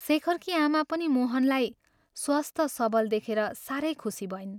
शेखरकी आमा पनि मोहनलाई स्वस्थ, सबल देखेर साह्रै खुशी भइन्।